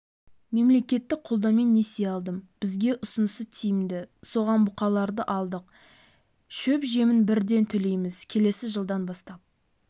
мемлекеттік қолдаумен несие алдым бізге ұсынысы тиімді соған бұқаларды алдық шөп-жемін бірден төлемейміз келесі жылдан бастап